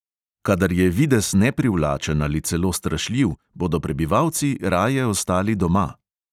Kadar je videz neprivlačen ali celo strašljiv, bodo prebivalci raje ostajali doma.